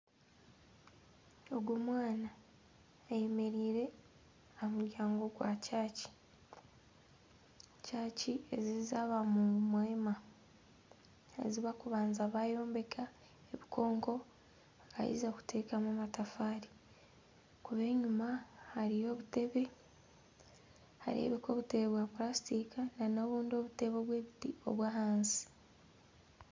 Ogu omwana ayemereire aha muryango gw'ekanisa, ekanisa egi eya aba mungu mwema eyi bakubanza bayombeka ebinkonko baheza kutamu amatafaari ahakuba enyuma hariyo obutebe nihareebika obutebe bwa pulasitika n'obundi obutebe obw'ebiti obw'ahansi.